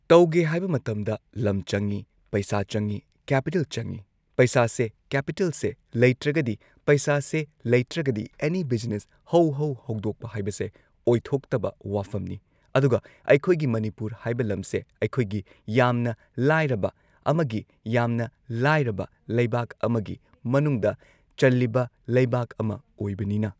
ꯇꯧꯒꯦ ꯍꯥꯏꯕ ꯃꯇꯝꯗ ꯂꯝ ꯆꯪꯏ ꯄꯩꯁꯥ ꯆꯪꯏ ꯀꯦꯄꯤꯇꯦꯜ ꯆꯪꯏ ꯄꯩꯁꯥꯁꯦ ꯀꯦꯄꯤꯇꯦꯜꯁꯦ ꯂꯩꯇ꯭ꯔꯒꯗꯤ ꯄꯩꯁꯥꯁꯦ ꯂꯩꯇ꯭ꯔꯒꯗꯤ ꯑꯦꯅꯤ ꯕꯤꯖꯤꯅꯦꯁ ꯍꯧ ꯍꯧ ꯍꯧꯗꯣꯛꯄ ꯍꯥꯢꯕꯁꯦ ꯑꯣꯏꯊꯣꯛꯇꯕ ꯋꯥꯐꯝꯅꯤ ꯑꯗꯨꯒ ꯑꯩꯈꯣꯏꯒꯤ ꯃꯅꯤꯄꯨꯔ ꯍꯥꯏꯕ ꯂꯝꯁꯦ ꯑꯩꯈꯣꯏꯒꯤ ꯌꯥꯝꯅ ꯂꯥꯏꯔꯕ ꯑꯃꯒꯤ ꯌꯥꯝꯅ ꯂꯥꯏꯔꯕ ꯂꯩꯕꯥꯛ ꯑꯃꯒꯤ ꯃꯅꯨꯡꯗ ꯆꯜꯂꯤꯕ ꯂꯩꯕꯥꯛ ꯑꯃ ꯑꯣꯏꯕꯅꯤꯅ꯫